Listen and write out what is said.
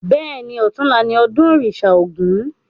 Bẹ́ẹ̀ni, ọ̀tunla ni ọdún òrìṣà ògún